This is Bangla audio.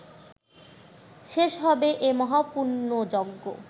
শেষ হবে এ মহাপুণ্যযজ্ঞ